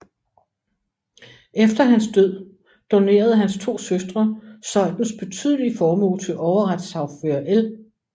Efter hans død donerede hans to søstre Zeuthens betydelige formue til Overretssagfører L